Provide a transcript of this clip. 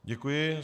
Děkuji.